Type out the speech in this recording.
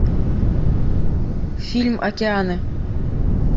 фильм океаны